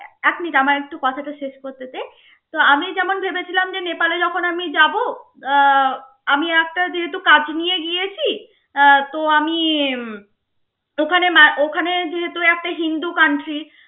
এক মিনিট আমার একটু কথাটা শেষ করতে দে তো আমি যেমন ভেবেছিলাম যে নেপালে যখন আমি যাব আহ আমি একটা যেহেতু কাজ নিয়ে গিয়েছি আহ তো আমি ওখানে মা~ ওখানে যেহেতু একটা হিন্দু country